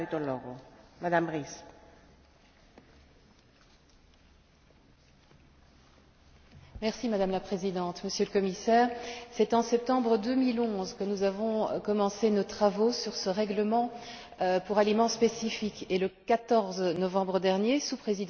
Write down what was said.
Madame la Présidente, Monsieur le Commissaire, c'est en septembre 2011 que nous avons commencé nos travaux sur ce règlement relatif aux aliments spécifiques et le 14 novembre dernier, sous Présidence chypriote à l'époque, que l'accord était conclu entre la délégation du Parlement européen et le Conseil.